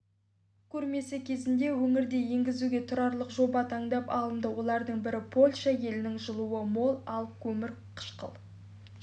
көрмесі кезінде өңірде енгізуге тұрарлық жоба таңдап алынды олардың бірі польша елінің жылуы мол ал көмірқышқыл